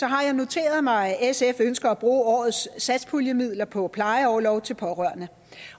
har jeg noteret mig at sf ønsker at bruge årets satspuljemidler på plejeorlov til pårørende